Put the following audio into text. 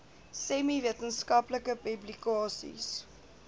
semi wetenskaplike publikasies